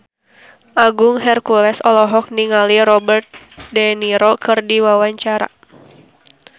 Agung Hercules olohok ningali Robert de Niro keur diwawancara